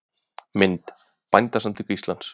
Mynd: Bændasamtök Íslands.